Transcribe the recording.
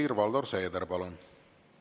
Helir-Valdor Seeder, palun!